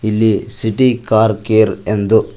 ಇಲ್ಲಿ city car care ಎಂದು--